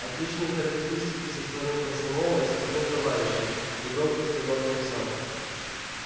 отличные характеристики со стороны комсомола и со стороны товарищей негромко сказал комиссар